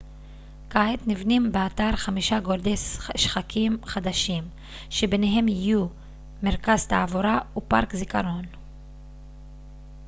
כעת נבנים באתר חמישה גורדי שחקים חדשים שביניהם יהיו מרכז תעבורה ופארק זיכרון